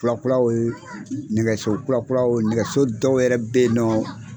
Kulakulaw ye nɛgɛso kurakuraw nɛgɛso dɔw yɛrɛ be ye nɔɔ